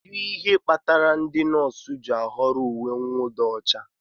Kedu ihe kpatara ndị nọọsụ ji ahọrọ uwe mwụda ọcha?